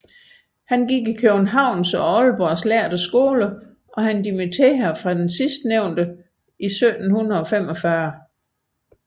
Han gik i Københavns og Aalborgs lærde skoler og dimitterede fra sidstnævnte sted 1745